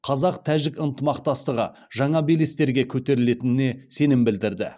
қазақ тәжік ынтымақтастығы жаңа белестерге көтерілетініне сенім білдірді